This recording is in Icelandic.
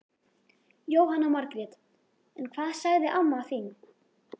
Jóhanna Margrét: En hvað sagði amma þín?